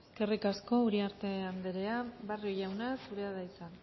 eskerrik asko uriarte andrea barrio jauna zurea da hitza